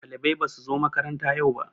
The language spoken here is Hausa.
Ɗalibai basu zo makaranta yau ba